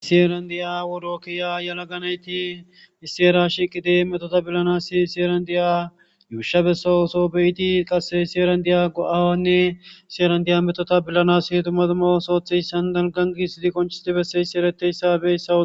Issi heran diya worookiya yalaganayti isseera shiqide metota billanas sierandiya yuusha bessa oso beyiti qasse sierandiya go7aawanne sierandiya metota bilanas tumaduma osootheyssan dalgan giisidi koncisti besseyssi ereteyssabessao